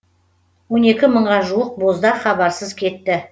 он екі мыңға жуық боздақ хабарсыз кетті